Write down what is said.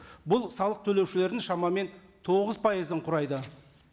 бұл салық төлеушілердің шамамен тоғыз пайызын құрайды